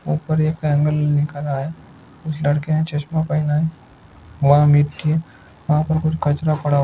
ऊपर एक एंगल निकाला है। उस लड़के ने चस्मा पहना है। वहा मिट्टी वहा पर कुछ कचरा पड़ा है।